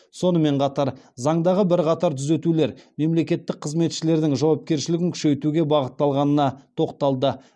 сонымен қатар заңдағы бірқатар түзетулер мемлекеттік қызметшілердің жауапкершілігін күшейтуге бағытталғанына тоқталды